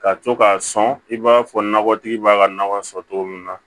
Ka to k'a sɔn i b'a fɔ nɔgɔtigi b'a ka nakɔ sɔn cogo min na